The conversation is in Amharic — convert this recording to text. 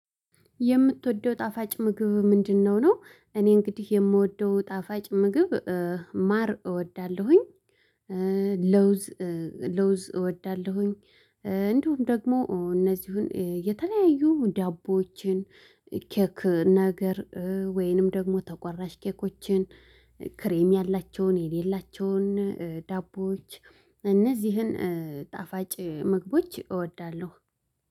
የምትወደው ጣፋጭ ምግብ ምንድነው? ነው እኔ እንግዲህ የምወደው ጣፋጭ ምግብ ማር እወዳለሁኝ ለውዝ ለውዝ እወዳለሁኝ። እንዲሁም ደግሞ እነዚህን የተለያዩ ዳቦዎችን ኬክ ነገር ወይንም ደግሞ ተቆራሽ ኬኮችን ክሬም ያላቸውን የሌላቸውን ዳቦዎች። እነዚህን ጣፋጭ ምግቦች እወዳለሁ